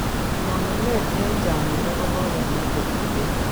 Nyonunet en chakyindo kokemwa che tuten